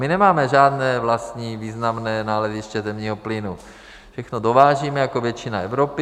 My nemáme žádné vlastní významné naleziště zemního plynu, všechno dovážíme jako většina Evropy.